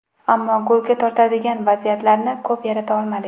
Ammo golga tortadigan vaziyatlarni ko‘p yarata olmadik.